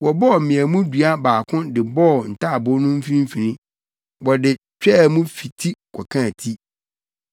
Wɔbɔɔ mmeamu dua baako de bɔɔ ntaaboo no mfimfini. Wɔde twaa mu fi ti kɔkaa ti.